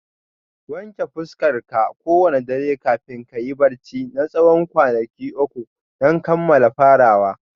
Wanke fuskarka kowane dare kafin kayi barci na tsawon kwanaki uku don kammala farawa